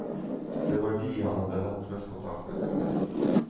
Det var de han hadde hatt mest kontakt med. punktum